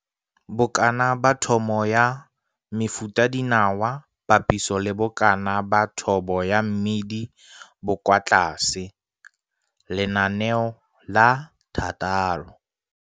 Bokana ba thobo ya mefutadinawa papiso le bokana ba thobo ya mmidi bo kwa tlase Lenaneo la 6.